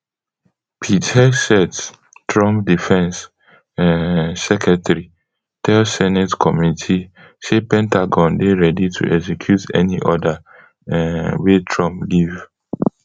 pete hegseth trump defence um secretary tell senate committee say pentagon dey ready to execute any order um wey trump give